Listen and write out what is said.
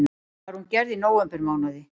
Var hún gerð í nóvembermánuði